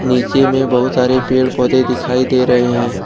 नीचे में बहुत सारे पेड़ पौधे दिखाई दे रहे हैं।